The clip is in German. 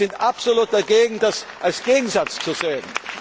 Wir sind absolut dagegen, das als Gegensatz zu sehen.